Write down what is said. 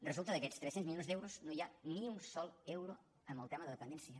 resulta que d’aquests tres cents milions d’euros no hi ha ni un sol euro amb el tema de dependència